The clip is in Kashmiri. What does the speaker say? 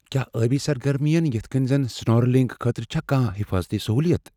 کیا ٲبی سرگرمین یتھہٕ کٔنہِ زن سنورکلنگ خٲطرٕ چھا کانٛہہ حفاظتی سہولیات؟